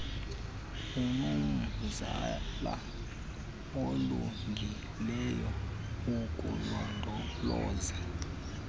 unomzila olungileyo wokulondoloza